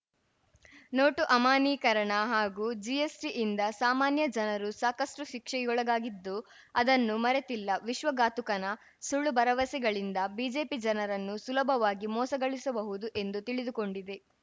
note ಅಮಾನ್ಯೀಕರಣ ಹಾಗೂ ಜಿಎಸ್ಟಿಯಿಂದ ಸಾಮಾನ್ಯ ಜನರು ಸಾಕಷ್ಟುಶಿಕ್ಷೆಗೊಳಗಾಗಿದ್ದು ಅದನ್ನು ಮರೆತಿಲ್ಲ ವಿಶ್ವಘಾತುಕತನ ಸುಳ್ಳು ಭರವಸೆಗಳಿಂದ ಬಿಜೆಪಿ ಜನರನ್ನು ಸುಲಭವಾಗಿ ಮೋಸಗೊಳಿಸಬಹುದು ಎಂದು ತಿಳಿದುಕೊಂಡಿದೆ